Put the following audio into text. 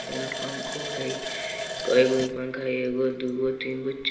फेरो पंखो हेय काइगो पंखों है एगो दुगो तीनगो चा --